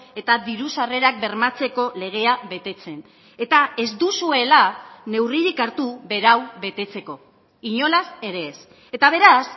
eta diru sarrerak bermatzeko legea betetzen eta ez duzuela neurririk hartu berau betetzeko inolaz ere ez eta beraz